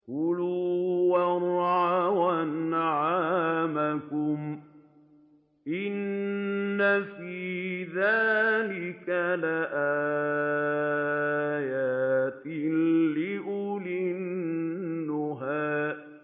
كُلُوا وَارْعَوْا أَنْعَامَكُمْ ۗ إِنَّ فِي ذَٰلِكَ لَآيَاتٍ لِّأُولِي النُّهَىٰ